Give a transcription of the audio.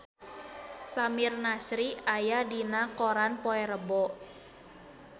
Samir Nasri aya dina koran poe Rebo